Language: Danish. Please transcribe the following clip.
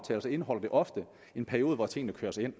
så indeholder det ofte en periode hvor tingene køres ind